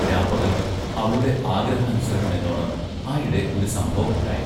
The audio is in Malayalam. രാപ്പകൽ അവളുടെ ആഗ്രഹാനുസരണമെന്നോണം ആയിടെ ഒരു സംഭവമുണ്ടായി.